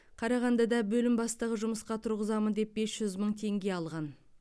қарағандыда бөлім бастығы жұмысқа тұрғызамын деп бес жүз мың теңге алған